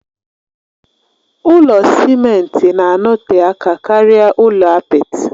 Ụlọ simenti na-anọte aka karịa ụlọ apịtị.